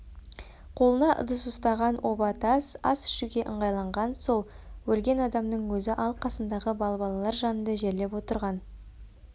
қолына ыдыс ұстаған оба тас ас ішуге ыңғайланған сол өлген адамның өзі ал қасындағы балбалалар жанында жерлеп отырған